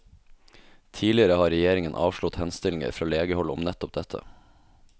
Tidligere har regjeringen avslått henstillinger fra legehold om nettopp dette.